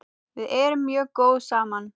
Við erum mjög góð saman.